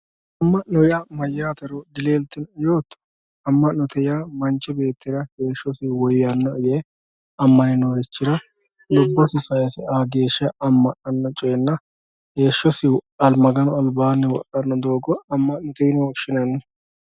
Amanotte ya mayatero delelitinoe yoto amanoee ya manchi betira heshosi woyanoe ye amane norichira lubosi sayise a gesha heshosi maganu alibanni wodhano dogo amanote yine woshinanni